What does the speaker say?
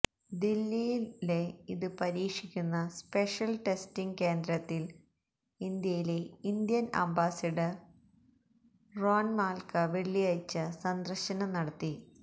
ദില്ലിയിലെ ഇത് പരീക്ഷിക്കുന്ന സ്പെഷ്യല് ടെസ്റ്റിംഗ് കേന്ദ്രത്തില് ഇന്ത്യയിലെ ഇന്ത്യന് അംബാസിഡര് റോന് മാല്ക്ക വെള്ളിയാഴ്ച സന്ദര്ശനം നടത്തി